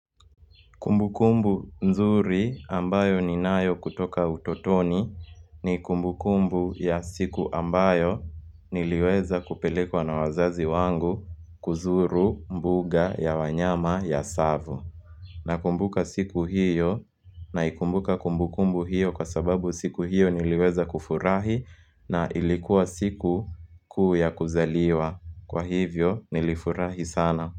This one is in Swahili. Kumbukumbu mzuri ambayo ninayo kutoka utotoni ni kumbukumbu ya siku ambayo niliweza kupelekwa na wazazi wangu kuzuru mbuga ya wanyama ya Tsavo. Na kumbuka siku hiyo na ikumbuka kumbukumbu hiyo kwa sababu siku hiyo niliweza kufurahi na ilikuwa siku kuu ya kuzaliwa. Kwa hivyo nilifurahi sana.